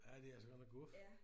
Ja de er altså godt nok guf